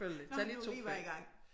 Når han nu lige var i gang